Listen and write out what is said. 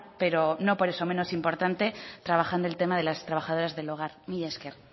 pero no por eso menos importante trabajando el tema de las trabajadoras del hogar mila esker